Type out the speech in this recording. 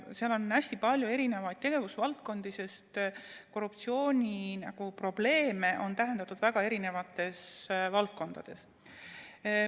Seal on hästi palju tegevusvaldkondi, sest korruptsiooniprobleeme on täheldatud väga erinevates valdkondades.